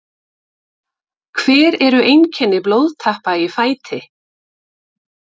hver eru einkenni blóðtappa í fæti